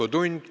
Infotund.